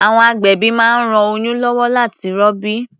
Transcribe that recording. À̀wọn agbẹ̀bí máa ń ran oĺyún lọ́wọ́ láti rọbí.